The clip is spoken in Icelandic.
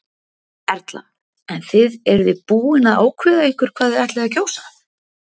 Erla: En þið eru þið búin að ákveða ykkur hvað þið ætlið að kjósa?